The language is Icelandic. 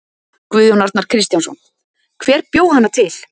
Guðjón Arnar Kristjánsson: Hver bjó hana til?